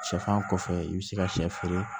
Sɛfan kɔfɛ i bɛ se ka sɛ feere